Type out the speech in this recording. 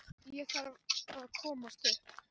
Ég þarf að komast upp.